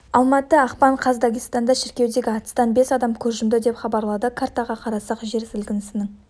алматы ақпан қаз дагестанда шіркеудегі атыстан бес адам көз жұмды деп хабарлады картаға қарасақ жер сілкінісінің